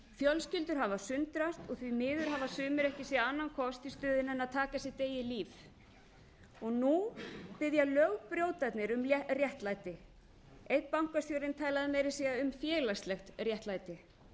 fjölskyldur hafa sundrast og því miður hafa sumir ekki séð annan kost í stöðunni en að taka sitt eigið líf nú biðja lögbrjótarnir um réttlæti einn bankastjórinn talaði meira að segja um félagslegt réttlæti